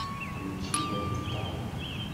включи вайт таун